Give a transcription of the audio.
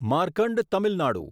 Markand Tamil Nadu